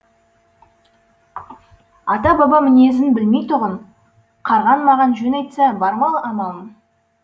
ата баба мінезін білмейтұғын қарғаң маған жөн айтса бар ма амалым